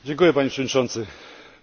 Szanowny Panie Komisarzu!